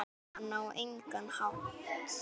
Jóhann: Á engan hátt?